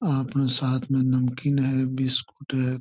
आपने साथ में नमकीन है बिस्कुट है।